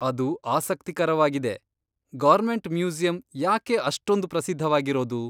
ಅದು ಆಸಕ್ತಿಕರವಾಗಿದೆ. Government museum ಯಾಕೆ ಅಷ್ಟೊಂದ್ ಪ್ರಸಿದ್ಧವಾಗಿರೋದು?